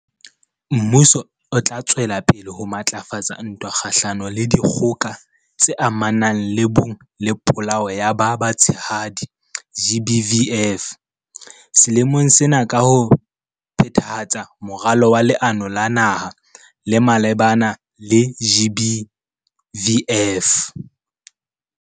Mmuso o tla tswela pele ho matlafatsa ntwa kgahlanong le Dikgoka tse Amanang le Bong le Polao ya ba Batshehadi, GBVF, selemong sena ka ho phethahatsa Moralo wa Leano la Naha le malebana le GBVF.